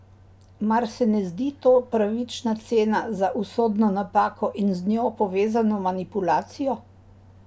Mar se ne zdi to pravična cena za usodno napako in z njo povezano manipulacijo?